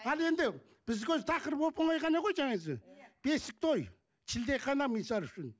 ал енді бізге өзі тақырып оп онай ғана ғой бесік той шілдехана мысал үшін